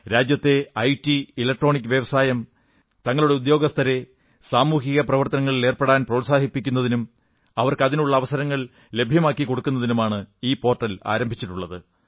രാജ്യത്തെ IT electronics വ്യവസായം തങ്ങളുടെ ഉദ്യോഗസ്ഥരെ സാമൂഹികപ്രവർത്തനങ്ങളിലേർപ്പെടാൻ പ്രോത്സാഹിപ്പിക്കുന്നതിനും അവർക്ക് അതിനുള്ള അവസരങ്ങൾ ലഭ്യമാക്കിക്കൊടുക്കുന്നതിനുമാണ് ഈ പോർട്ടൽ ആരംഭിച്ചിട്ടുള്ളത്